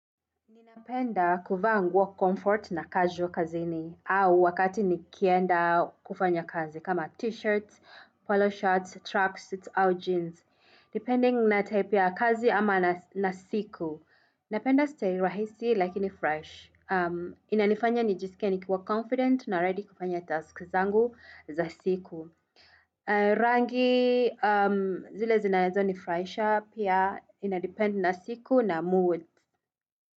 Ninapenda kuvaa nguo comfort na casual kazini au wakati nikienda kufanya kazi kama t-shirts, polo shirts, tracks, suits, au jeans. Depending na type kazi ama na siku. Napenda style rahisi lakini fresh. Inanifanya nijiskie nikiwa confident na ready kufanya tasks zangu za siku. Rangi zile zinaezo nifuraisha pia inadepend na siku na mood.